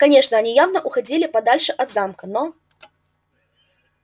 конечно они явно уходили подальше от замка но